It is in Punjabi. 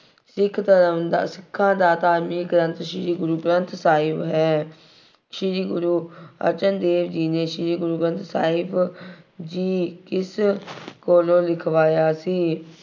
ਸਿੱਖ ਧਰਮ ਦਾ, ਸਿੱਖਾਂ ਦਾ ਧਾਰਮਿਕ ਗ੍ਰੰਥ, ਸ਼੍ਰੀ ਗੁਰੂ ਗੰਥ ਸਾਹਿਬ ਹੈ। ਸ਼੍ਰੀ ਗੁਰੂ ਅਰਜਨ ਦੇਵ ਜੀ ਨੇ ਸ਼੍ਰੀ ਗੁਰੂ ਗ੍ਰੰਥ ਸਾਹਿਬ ਜੀ ਕਿਸ ਕੋਲੋਂ ਲਿਖਵਾਇਆ ਸੀ।